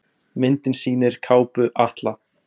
Myndin sýnir kápu Atla.